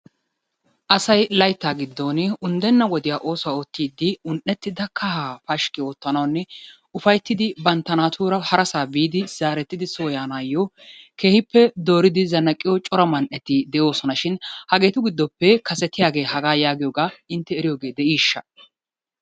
Asay layttaa giddon unddenna wodiya oosuwa oottidi un'ettida kaha pashikki oottanawunne ufayttidi bantta naatuura harassaa biidi zaarettidi soo yaanaayo keehippe dooridi zanaqqiyo cora man'etti de'oosona shin hageetu giddoppe kasetiyagee hagaa yaagiyogaa intte eriyooge de'ishsha?